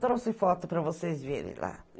Trouxe foto para vocês verem lá.